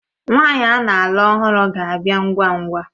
Nwaanyi ana-alụ ọhụrụ ga-abịa ngwa ngwa.